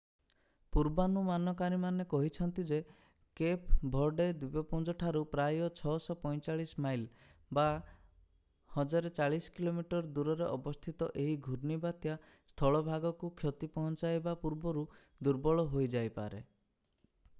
ପୂର୍ବାନୁମାନକାରୀମାନେ କହିଛନ୍ତି ଯେ Cape Verde ଦ୍ୱୀପପୁଞ୍ଜଠାରୁ ପ୍ରାୟ 645 ମାଇଲ 1040 କିଲୋମିଟର ଦୂରରେ ଅବସ୍ଥିତ ଏହି ଘୁର୍ଣ୍ଣିବାତ୍ୟା ସ୍ଥଳଭାଗକୁ କ୍ଷତି ପହଞ୍ଚାଇବା ପୂର୍ବରୁ ଦୁର୍ବଳ ହୋଇ ଯାଇପାରେ।